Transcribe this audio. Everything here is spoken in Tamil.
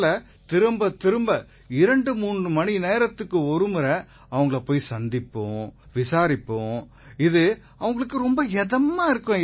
ஆகையால திரும்பத் திரும்ப 23 மணிநேரத்துக்கு ஒருமுறை அவங்களைப் போய் சந்திப்போம் விசாரிப்போம் இது அவங்களுக்கு இதமா இருக்கும்